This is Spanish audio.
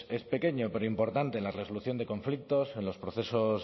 es pequeño pero importante en la resolución de conflictos en los procesos